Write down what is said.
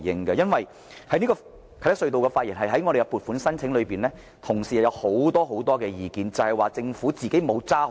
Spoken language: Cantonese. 對於啟德隧道這個項目的撥款申請，同事有很多意見，認為政府沒有堅守宗旨。